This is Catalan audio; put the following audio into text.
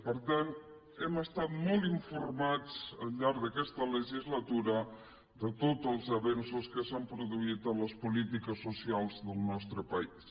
per tant hem estat molt informats al llarg d’aquesta legislatura de tots els avenços que s’han produït en les polítiques socials del nostre país